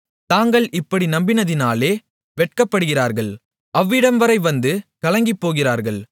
தாங்கள் இப்படி நம்பினதினாலே வெட்கப்படுகிறார்கள் அவ்விடம்வரை வந்து கலங்கிப்போகிறார்கள்